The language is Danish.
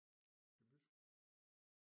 Skal vi bytte